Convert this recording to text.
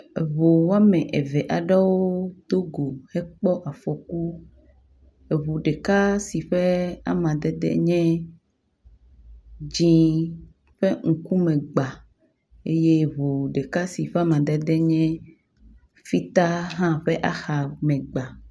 Eŋu woame eve aɖewo do go hekpɔ afɔku. Eŋu ɖeka si ƒe amadede nye dzɛ̃ ƒe ŋkume gbãa eye ŋu ɖeka si ƒe amadede nye fita hã ƒe axame gbãa.